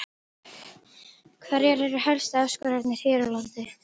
Hverjar eru helstu áskoranirnar hér á landi?